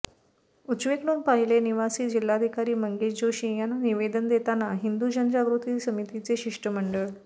उजवीकडून पहिले निवासी जिल्हाधिकारी मंगेश जोशी यांना निवेदन देतांना हिंदु जनजागृती समितीचे शिष्टमंडळ